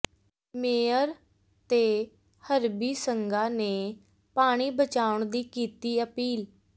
mayor ਤੇ ਹਰਬੀ ਸੰਘਾ ਨੇ ਪਾਣੀ ਬਚਾਉਣ ਦੀ ਕੀਤੀ ਅਪੀਲ